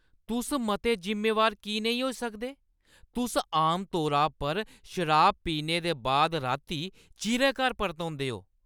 तुस मते जिम्मेवार की नेईं होई सकदे? तुस आमतौरा पर शराब पीने दे बाद राती चिरें घर परतोंदे ओ।